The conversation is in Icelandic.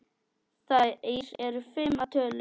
Þær eru fimm að tölu.